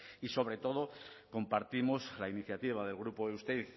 y sobre todo compartimos la iniciativa del grupo eusteiz